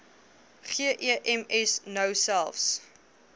gems nou selfs